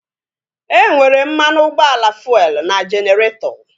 E nwere mmanụ ụgbọala fuelu n'jeneretọ